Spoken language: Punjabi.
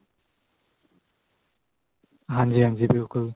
ਹਾਂਜੀ ਹਾਂਜੀ ਬਿਲਕੁਲ